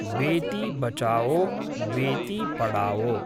बेति बचाओ बेति पढाओ